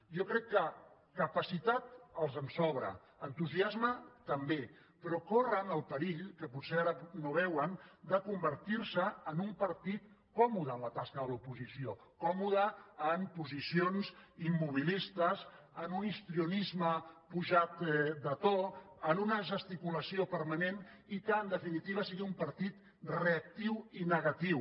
jo crec que capacitat els en sobra entusiasme també però corren el perill que potser ara no veuen de convertirse en un partit còmode en la tasca de l’oposició còmode en posicions immobilistes en un histrionisme pujat de to en una gesticulació permanent i que en definitiva sigui un partit reactiu i negatiu